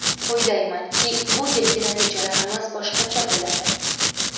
O‘ylaymanki, bu yilgi natijalarimiz boshqacha bo‘ladi.